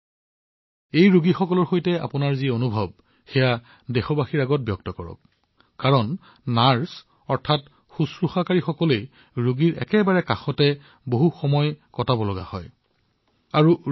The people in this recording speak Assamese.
কৰোনাৰ ৰোগীসকলৰ সৈতে আপোনাৰ যি অভিজ্ঞতা হৈছে সেয়া দেশবাসীয়ে নিশ্চয় শুনিব বিচাৰিব আৰু ছিষ্টাৰ নাৰ্চসকল ৰোগীৰ নিকটতম হয় আৰু দীৰ্ঘসময়লৈ সম্পৰ্ক থাকে